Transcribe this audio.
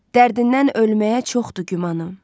Dərdindən ölməyə çoxdu gümanım.